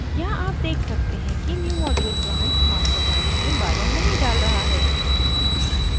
यहाँ आप देख सकते हैं कि newmodule branch master branch में बाधा नहीं डाल रहा है